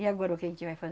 E agora o que a gente vai